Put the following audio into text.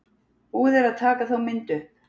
Búið er að taka þá mynd upp.